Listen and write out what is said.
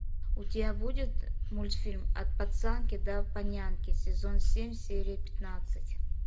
у тебя будет мультфильм от пацанки до панянки сезон семь серия пятнадцать